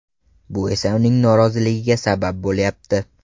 Bu esa uning noroziligiga sabab bo‘lyapti.